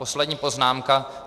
Poslední poznámka.